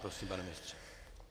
Prosím, pane ministře.